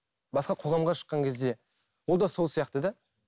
басқа қоғамға шыққан кезде ол да сол сияқты да